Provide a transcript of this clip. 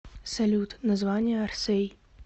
салют название орсэй